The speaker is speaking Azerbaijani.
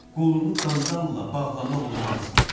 Qolunu qandalla bağlamaq olmaz.